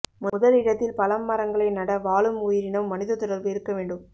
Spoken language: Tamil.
முதல் இடத்தில் பழம் மரங்களை நட வாழும் உயிரினம் மனித தொடர்பு இருக்க வேண்டும்